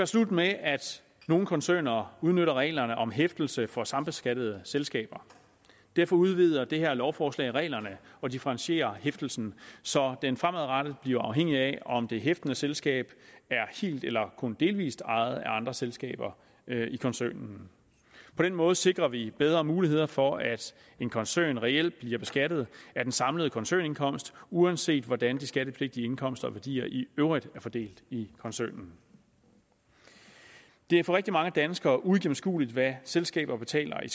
slut med at nogle koncerner udnytter reglerne om hæftelse for sambeskattede selskaber derfor udvider det her lovforslag reglerne og differentierer hæftelsen så den fremadrettet bliver afhængig af om det hæftende selskab er helt eller kun delvis ejet af andre selskaber i koncernen på den måde sikrer vi bedre muligheder for at en koncern reelt bliver beskattet af den samlede koncernindkomst uanset hvordan de skattepligtige indkomster og værdier i øvrigt er fordelt i koncernen det er for rigtig mange danskere uigennemskueligt hvad selskaber betaler i